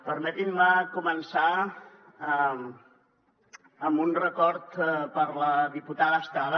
permetin me començar amb un record per a la diputada estrada